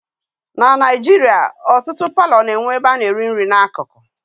Na Naijiria ọtụtụ palọ na-enwe ebe a na-eri nri na akụkụ